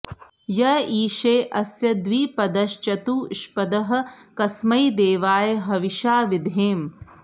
य ईशे अस्य द्विपदश्चतुष्पदः कस्मै देवाय हविषा विधेम